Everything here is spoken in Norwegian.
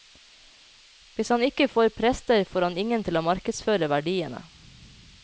Hvis han ikke får prester, får han ingen til å markedsføre verdiene.